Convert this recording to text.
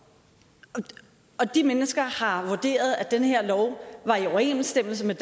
og de mennesker har vurderet at den her lov var i overensstemmelse med